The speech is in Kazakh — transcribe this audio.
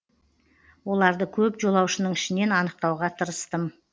оларды көп жолаушының ішінен анықтауға тырыстым